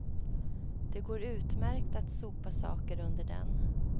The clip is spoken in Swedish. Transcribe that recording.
Det går utmärkt att sopa saker under den.